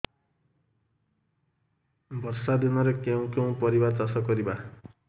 ବର୍ଷା ଦିନରେ କେଉଁ କେଉଁ ପରିବା ଚାଷ କରିବା